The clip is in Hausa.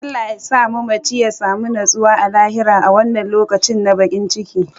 Allah yasa mamaci ya samu nutsuwa a lahira a wannan lokaci na bakin ciki.